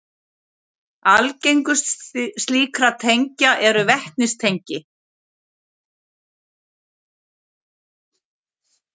Algengust slíkra tengja eru vetnistengi.